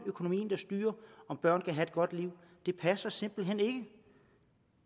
økonomien der styrer om børn kan have et godt liv passer simpelt hen ikke